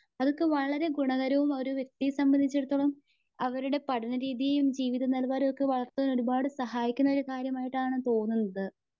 അതൊക്കെ വളരെ ഗുണകരവുമാണ്. ഒരു വ്യക്തിയെ സംമ്പന്ദിച്ചിടത്തോളം അവരുടെ പഠനരീതിയും. ജീവിത നിലവാരവുമൊക്കെ വളർത്തുന്നതിനൊരുപാട് സഹായിക്കുന്ന ഒരു കാര്യമായിട്ടാണ് തോന്നുന്നത്.